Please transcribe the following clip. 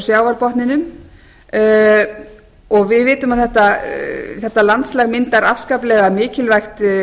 frá sjávarbotninum og við vitum að þetta landslag myndar afskaplega mikilvægt